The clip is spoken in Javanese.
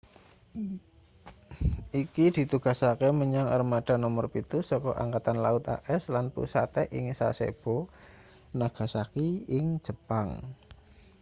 iki ditugasake menyang armada nomer pitu saka angkatan laut as lan pusate ing sasebo nagasaki ing jepang